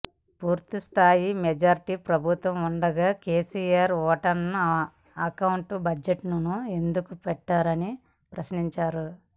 పూర్తిస్థాయి మెజార్టీ ప్రభుత్వం ఉండగా కేసీఆర్ ఓటాన్ అకౌంట్ బడ్జెట్ను ఎందుకు పెట్టారని ప్రశ్నించారు